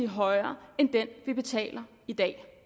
højere end den vi betaler i dag